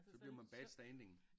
Så bliver man bad standing